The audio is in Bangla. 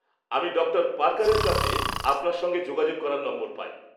আমি ডক্টর পার্কারের কাছে আপনার সঙ্গে যোগাযোগ করার নম্বর পাই।